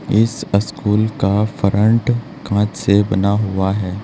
इस स्कूल का फ्रंट कांच से बना हुआ है।